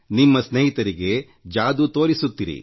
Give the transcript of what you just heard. ನಿಮ್ಮ ಸ್ನೇಹಿತರಿಗೆ ಆ ಮ್ಯಾಜಿಕ್ ತೋರಿಸಿ